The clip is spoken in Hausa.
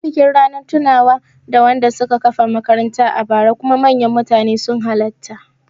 Anyi bikin Ranar tunawa da wanda suka kafa makarantar a bara kuma manyan mutane sun halatta